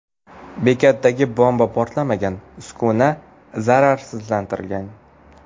Bekatdagi bomba portlamagan, uskuna zararsizlantirilgan.